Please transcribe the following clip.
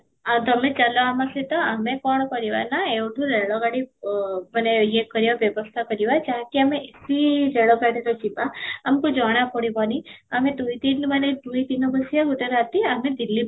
ଆଁ ତୋମେ ଚାଲ ଆମ ସହିତ ଆମେ କ'ଣ କରିବା ନା ଏଇଠୁ ରେଳ ଗାଡି ଅଃ ମାନେ ୟେ କରିବା ବ୍ୟବସ୍ତା କରିବା ଯାହାକି ଆମେ ସେଠି ରେଳ ଗାଡିରେ ଯିବା ଆମକୁ ଜଣ ପଡିବନି ଆମେ ଦୁଇ ଦିନ ମାନେ ଦୁଇ ଦିନ ବସିବା ଗୋଟେ ରାତି ଆମେ ଦିଲ୍ଲୀ